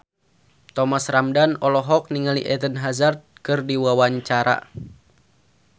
Thomas Ramdhan olohok ningali Eden Hazard keur diwawancara